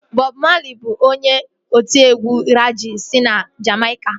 Bọb Mali bụ onye otiegwu regee si na Jamaica